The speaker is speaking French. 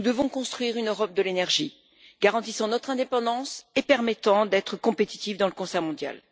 Nous devons construire une Europe de l'énergie garantissant notre indépendance et nous permettant d'être compétitifs dans le concert mondial.